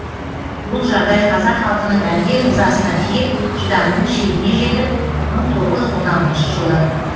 бұл жағдай қазақ халқының әбден ызасына тиіп шыдамының шегіне жетіп мың тоғыз жүз он алтыншы жылы